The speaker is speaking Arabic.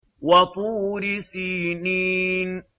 وَطُورِ سِينِينَ